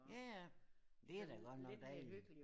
Ja ja det da godt nok dejligt